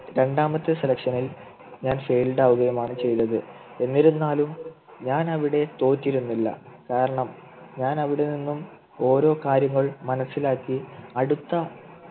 രണ്ടാമത്തെ selection ൽ ഞാൻ Failed ആവുകയുമാണ് ചെയ്തത് എന്നിരുന്നാലും ഞാനിവിടെ തോറ്റിരുന്നില്ല കാരണം ഞാൻ അവിടുന്ന് ഒരു കാര്യങ്ങൾ മനസ്സിലാക്കി അടുത്ത